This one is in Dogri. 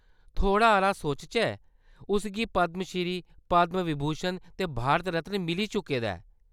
थोह्‌ड़ा-हारा सोचचै, उस गी पद्‌म श्री ,पद्‌म विभूषण ते भारत रत्न मिली चुके दा ऐ।